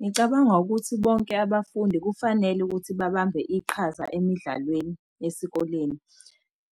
Ngicabanga ukuthi bonke abafundi kufanele ukuthi babambe iqhaza emidlalweni esikoleni.